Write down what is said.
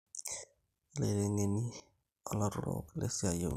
ilaitengeni olautarok lesiai eunore